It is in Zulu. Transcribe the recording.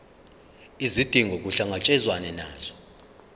izidingo kuhlangatshezwane nazo